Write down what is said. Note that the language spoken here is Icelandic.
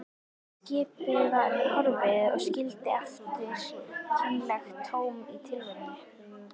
Skipið var horfið og skildi eftir kynlegt tóm í tilverunni.